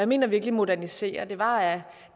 mener virkelig modernisere for det var at